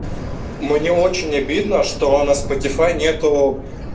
мне очень обидно что на спотифай нету